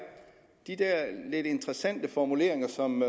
de der lidt interessante formuleringer som